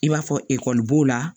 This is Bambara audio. I b'a fɔ ekɔli b'o la